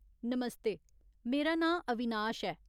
नमस्ते, मेरा नांऽ अविनाश ऐ।